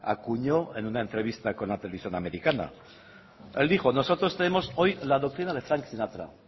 acuñó en una entrevista con la televisión americana él dijo nosotros tenemos hoy la doctrina de frank sinatra